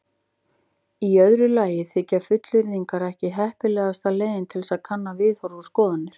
Í öðru lagi þykja fullyrðingar ekki heppilegasta leiðin til að kanna viðhorf og skoðanir.